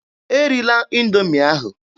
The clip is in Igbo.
E rila Indoomi ahụ!